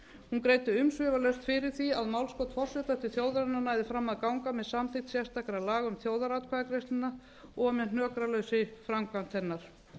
hún greiddi umsvifalaust fyrir því að málskot forseta til þjóðarinnar næði fram að ganga með samþykkt sérstakra laga um þjóðaratkvæðagreiðsluna og með hnökralausri framkvæmd hennar